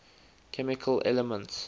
chemical elements